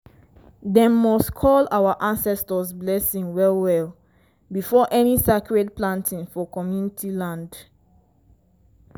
dem must call our ancestors blessing well well before any sacred planting for community land.